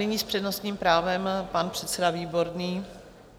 Nyní s přednostním právem pan předseda Výborný.